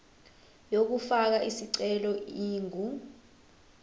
yokufaka isicelo ingu